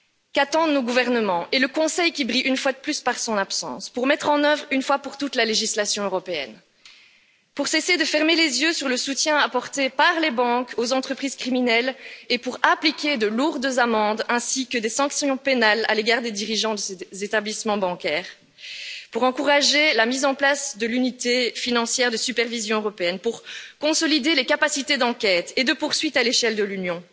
Qu'attendent nos gouvernements et le Conseil qui brille, une fois de plus, par son absence, pour mettre en œuvre une fois pour toutes la législation européenne, pour cesser de fermer les yeux sur le soutien apporté par les banques aux entreprises criminelles et pour appliquer de lourdes amendes ainsi que des sanctions pénales à l'égard des dirigeants des établissements bancaires, pour encourager la mise en place de l'unité financière de supervision européenne, pour consolider les capacités d'enquête et de poursuite à l'échelle de l'Union,